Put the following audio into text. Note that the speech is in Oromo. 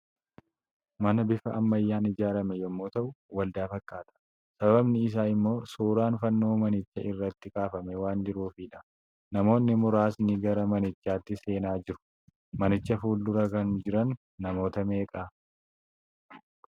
Mana bifa ammayyaan ijaarame yommuu ta'u, waldaa fakkaata. Sababni isaa immoo, suuraan fannoo manicha irratti kaafamee waan jiruufidha. Namoonni muraasni gara manichaatti seenaa jiru. Manicha fuldura kan jiran namoota meeqa?